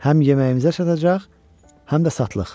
Həm yeməyimizə çatacaq, həm də satlıq.